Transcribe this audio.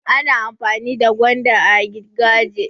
Ana amfani da gwanda a gigaje.